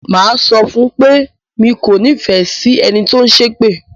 Mà á sọ fún un pé mi kò nífẹ̀ẹ́ sí ẹni tó ń ṣépè.